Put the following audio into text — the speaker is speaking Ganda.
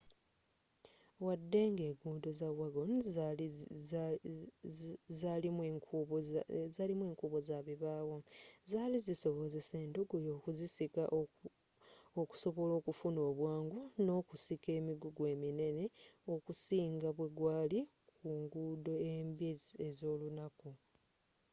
waddenga enguudo za wagon zalimu enkuubo zabibaawo zaali zisobozesa endogoyi okuzisika okusobola okufuna obwangu n'okusika emigugu eminene okusinga bwegwaali ku nguudo embi ez'olunaku